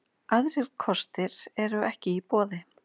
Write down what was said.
Aðrir kostir eru ekki í boði